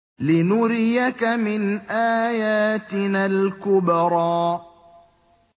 لِنُرِيَكَ مِنْ آيَاتِنَا الْكُبْرَى